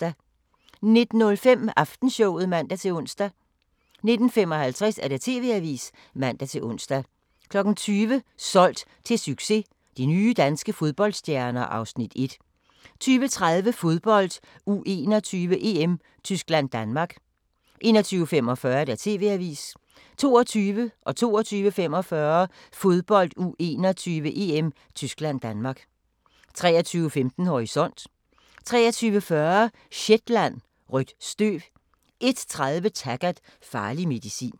19:05: Aftenshowet (man-ons) 19:55: TV-avisen (man-ons) 20:00: Solgt til succes – de nye danske fodboldstjerner (Afs. 1) 20:30: Fodbold: U21-EM - Tyskland-Danmark 21:45: TV-avisen 22:00: Fodbold: U21-EM - Tyskland-Danmark 22:45: Fodbold: U21-EM - Tyskland-Danmark 23:15: Horisont 23:40: Shetland: Rødt støv 01:30: Taggart: Farlig medicin